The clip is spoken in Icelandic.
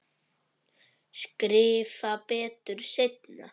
Skrifa betur seinna.